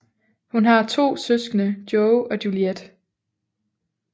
Hun har to søskende Joe og Juliet